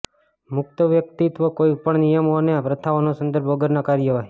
મુક્ત વ્યક્તિત્વ કોઈ પણ નિયમો અને પ્રથાઓના સંદર્ભ વગરના કાર્યવાહી